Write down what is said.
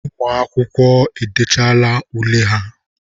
Ụmụ akwụkwọ ahụ edechaala ule ha.